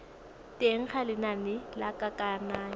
teng ga lenane la kananyo